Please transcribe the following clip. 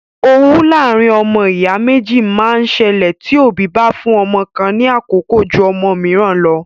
Owú láàárín ọmọ ìyá méjì máa ń ṣẹlẹ tí òbí bá fún ọmọ kan ní àkókò jú ọmọ mìíràn lọ.